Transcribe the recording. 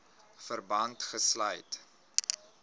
verband gesluit